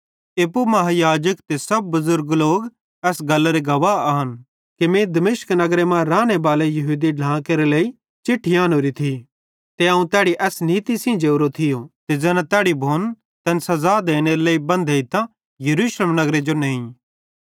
एप्पू महायाजक ते सब बुज़ुर्ग एस गल्लरे गवाह आन कि मीं दमिश्क नगरे मां रानेबाले यहूदी ढ्लां केरे लेइ चिट्ठी एन्होरी थी ते अवं तैड़ी एस नीती सेइं जोरो थियो ते ज़ैना तैड़ी भोन तैन सज़ा देनेरे लेइ बेन्धतां यरूशलेम नगरे जो नेही